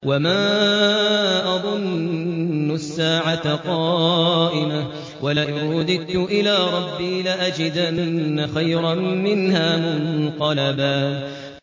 وَمَا أَظُنُّ السَّاعَةَ قَائِمَةً وَلَئِن رُّدِدتُّ إِلَىٰ رَبِّي لَأَجِدَنَّ خَيْرًا مِّنْهَا مُنقَلَبًا